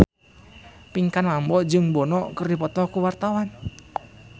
Pinkan Mambo jeung Bono keur dipoto ku wartawan